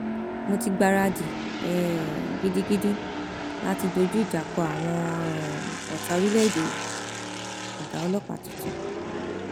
èyí nìdí tí mo fi ṣiṣẹ ta ko àtikukù nínú ìbò àárẹ tó kọjá fayesi